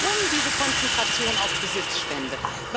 Warum diese Konzentration auf Besitzstände?